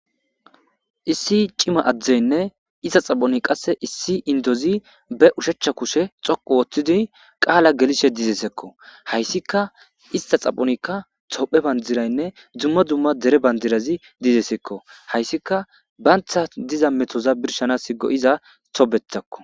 issi cima adzdzeynne ista xaphoni qasse issi indozi be ushechcha kushe xoqu woththidi qaala gelishe dizesekko hayssika ista xaphonikka tophe bandiraynne dzumma dumma dere bandirazi dizesekko hayssika baantha diza metoza birshana sgo7iza tobetakko